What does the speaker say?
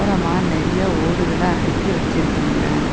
ஓரமா நெறைய ஓடுகள அடக்கி வச்சுருக்காங்க.